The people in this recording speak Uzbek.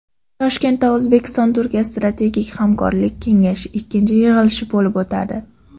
Toshkentda O‘zbekistonTurkiya strategik hamkorlik kengashining ikkinchi yig‘ilishi bo‘lib o‘tadi.